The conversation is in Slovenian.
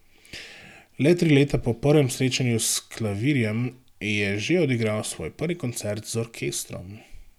Le tri leta po prvem srečanju s klavirjem je že odigral svoj prvi koncert z orkestrom.